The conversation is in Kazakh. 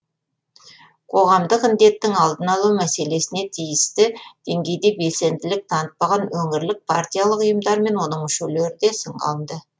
қоғамдық індеттің алдын алу мәселесіне тиісті деңгейде белсенділік танытпаған өңірлік партиялық ұйымдар мен оның мүшелері де сынға алынды